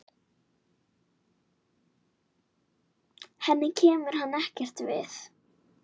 Henni kemur hann ekkert við.